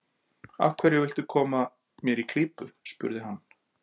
Af hverju viltu koma mér í klípu? spurði hann.